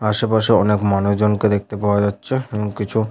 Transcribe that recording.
আশেপাশে অনেক মানুষজনকে দেখতে পাওয়া যাচ্ছে এবং কিছু--